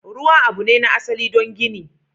Ruwa abu ne na asali don gini.